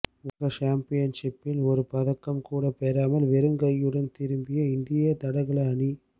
உலக சாம்பியன்ஷிப்பில் ஒரு பதக்கம் கூட பெறாமல் வெறுங்கையுடன் திரும்பிய இந்திய தடகள அணி